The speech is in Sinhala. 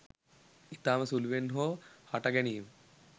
ඉතාම සුළුවෙන් හෝ හට ගැනීම